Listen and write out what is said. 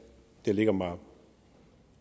det ligger mig